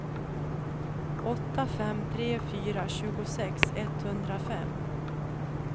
åtta fem tre fyra tjugosex etthundrafem